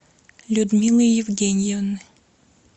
людмилы евгеньевны